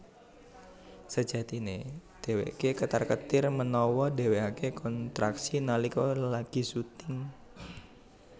Sejatiné dhéwéké ketar ketir menawa dheweké kontraksi nalika lagi syuting